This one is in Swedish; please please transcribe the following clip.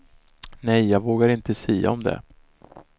Nej, jag vågar inte sia om det.